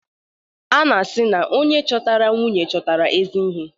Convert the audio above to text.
A na-asị na "Onye chọtara nwunye, chọta ezi ihe".